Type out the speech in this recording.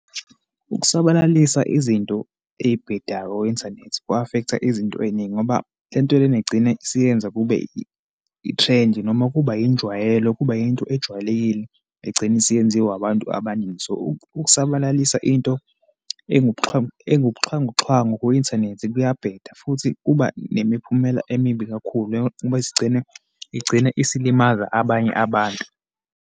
Ukusabalalisa izinto eyibhedayo ku-inthanethi ku-affect-a izinto eyiningi ngoba lento lena igcine isiyenza kube i-trend, noma kuba yinjwayelo. Kuba yinto ejwayelekile, egcine isiyenziwa abantu abaningi. So, ukusabalalisa into engubuxhwanguxhwangu ku-inthanethi kuyabheda futhi kuba nemiphumela emibi kakhulu, ngoba isigcine, igcine isilimaza abanye abantu.